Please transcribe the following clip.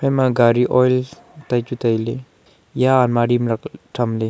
ema gari oil tai chu tailey eya almari ma tham le.